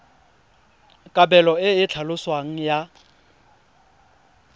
kabelo e e tlhaloswang ya